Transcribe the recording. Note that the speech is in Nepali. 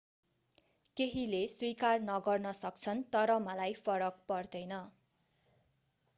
केहीले स्वीकार नगर्न सक्छन् तर मलाई फरक पर्दैन